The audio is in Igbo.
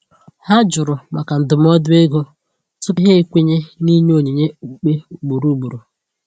Ha jụrụ maka ndụmọdụ ego tupu ha ekwenye n’ịnye onyinye okpukpe ugboro ugboro.